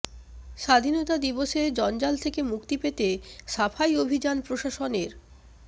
স্বাধীনতা দিবসে জঞ্জাল থেকে মুক্তি পেতে সাফাই অভিযান প্রশাসনের